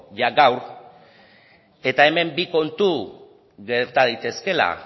jada gaur eta hemen bi kontu gerta daitezkeela